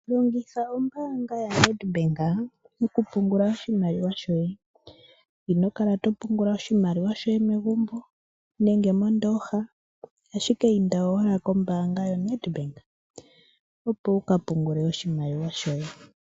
Longitha ombaanga ya Ned Bank, oku pungula oshimaliwa shoye . Ino kala to pungula oshimaliwa shoye megumbo, nenge mondooha, ashike inda owala kombaanga yo Ned Bank, opo wuka pungule oshimaliwa shoye.